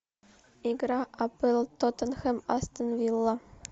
игра апл тоттенхэм астон вилла